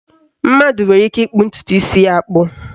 Mmadụ nwere ike ịkpụ ntụtụ isi ya akpụ